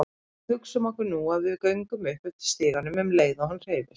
Hugsum okkur nú að við göngum upp eftir stiganum um leið og hann hreyfist.